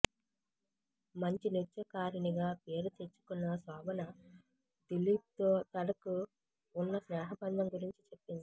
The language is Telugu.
మంచి నృత్యకారినిగా పేరు తెచ్చుకున్న శోభన దిలీప్ తో తనకు ఉన్న స్నేహబంధం గురించి చెప్పింది